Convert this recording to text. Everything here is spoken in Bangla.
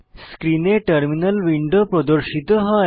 স্ক্রিনে টার্মিনাল উইন্ডো প্রদর্শিত হয়